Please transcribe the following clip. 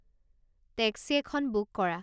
taxi এখন book কৰা